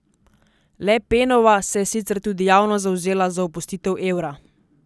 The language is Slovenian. Le Penova se je sicer tudi javno zavzela za opustitev evra.